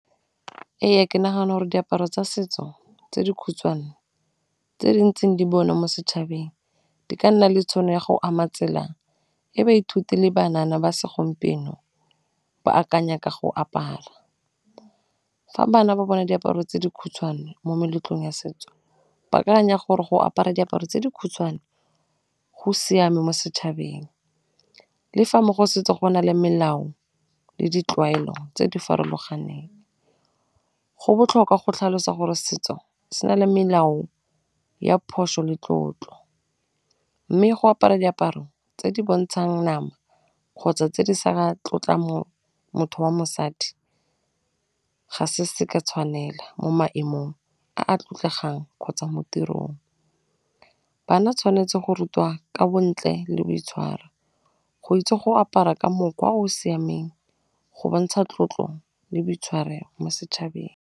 Ee, ke nagana gore diaparo tsa setso tse dikhutshwane, tse di ntseng di bonwa mo setšhabeng di ka nna le tšhono ya go ama tsela e baithuti le banana ba segompieno ba akanya ka go apara, fa bana ba bona diaparo tse dikhutshwane mo meletlong ya setso, ba akanya gore go apara diaparo tse dikhutshwane go siame mo setšhabeng, le fa mo go setse go na le melao le ditlwaelo tse di farologaneng, go botlhokwa go tlhalosa gore setso se na le melao ya phoso le tlotlo, mme go apara diaparo tse di bontshang nama kgotsa tse di sa tlotla mo motho wa mosadi ga se se ka tshwanela mo maemong a a tlotlegang kgotsa mo tirong, bana tshwanetse go rutiwa ka bontle le boitshwaro go itse go apara ka mokgwa o o siameng go bontsha tlotlo le boitshwaro mo setšhabeng.